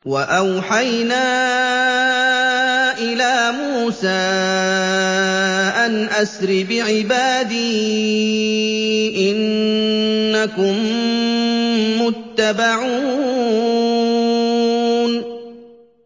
۞ وَأَوْحَيْنَا إِلَىٰ مُوسَىٰ أَنْ أَسْرِ بِعِبَادِي إِنَّكُم مُّتَّبَعُونَ